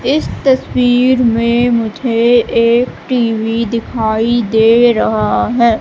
इस तस्वीर में मुझे एक टी_वी दिखाई दे रहा है।